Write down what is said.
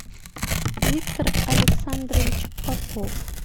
виктор александрович попов